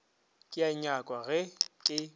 ke a nyakwa ge ke